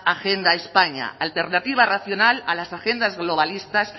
agenda españa alternativa racional a las agendas globalista